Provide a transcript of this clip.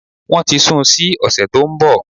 Wọ́n ti sun sí òsẹ̀ tó nbọ̀